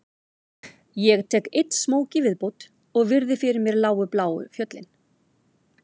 Ég tek einn smók í viðbót og virði fyrir mér lágu bláu fjöll